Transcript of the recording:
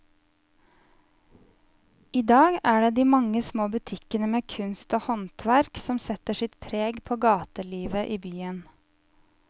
I dag er det de mange små butikkene med kunst og håndverk som setter sitt preg på gatelivet i byen.